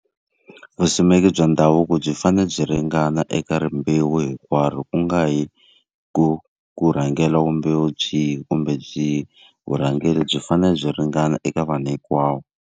Vusimeki bya ndhavuko byi fanele byi ringana eka rimbewu hinkwaro ku nga hi ku ku rhangela rimbewu byihi kumbe byihi. Vurhangeri byi fanele byi ringana eka vanhu hikwavo.